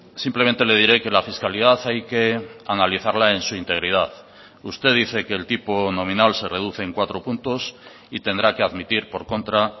simplemente le diré que la fiscalidad hay que analizarla en su integridad usted dice que el tipo nominal se reduce en cuatro puntos y tendrá que admitir por contra